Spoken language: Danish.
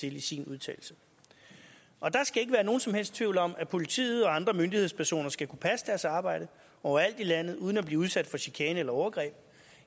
til i sin udtalelse der skal ikke være nogen som helst tvivl om at politiet og andre myndighedspersoner skal kunne passe deres arbejde overalt i landet uden at blive udsat for chikane eller overgreb